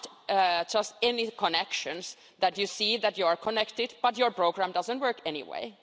It's not just in these connections that you see that you are connected but your program doesn't work anyway.